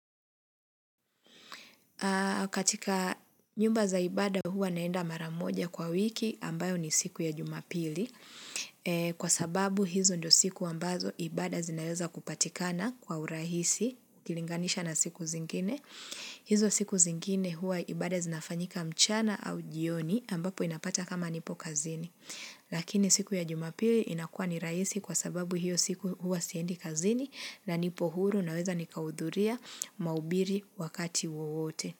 Katika nyumba za ibada huwa naenda maramoja kwa wiki ambayo ni siku ya jumapili. Kwa sababu hizo ndo siku ambazo ibada zinaweza kupatikana kwa urahisi, kilinganisha na siku zingine. Hizo siku zingine huwa ibada zinafanyika mchana au jioni ambapo inapata kama nipo kazini. Lakini siku ya jumapili inakua ni rahisi kwa sababu hiyo siku huwa siendi kazini na nipohuru naweza nikaudhuria mahubiri wakati uwote.